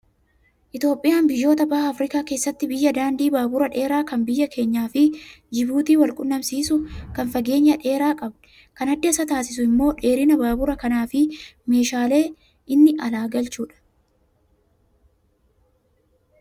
Itoophiyaan biyyoota baha Afrikaa keessatti biyya daandii baaburaa dheeraa kan biyya keenyaa fi Jibuutii wal quunnamsiisu kan fageenya dheeraa qabdi. Kan adda isa taasisu immoo dheerina baabura kanaa fi meeshaalee inni alaa galchudha.